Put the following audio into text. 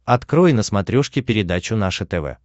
открой на смотрешке передачу наше тв